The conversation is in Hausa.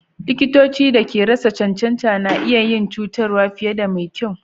Likitoci da ke rasa cancanta na iyi yin cutarwa fiye da mai kyau.